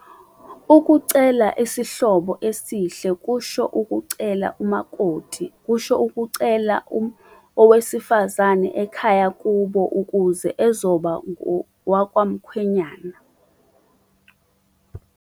Ukucela isihlobo esihle kusho ukucela umakoti, kusho ukucela owesifazane ekhaya kubo ukuze ezoba ngowakwamkhwenyana.